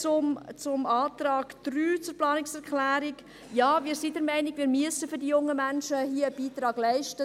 Zur Planungserklärung 3: Ja, wir sind der Meinung, wir müssten für die jungen Menschen einen Beitrag leisten.